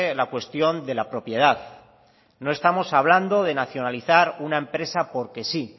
la cuestión de la propiedad no estamos hablando de nacionalizar una empresa porque sí